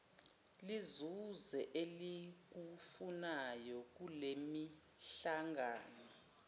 lizuze elikufunayo kulemihlangano